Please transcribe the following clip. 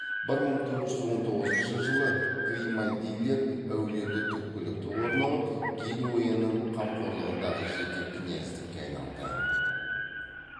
бір мың төрт жүз он тоғызыншы жылы гримальдилер әулеті түпкілікті орнығып генуяның қамқорлығындағы жеке князьдікке айналды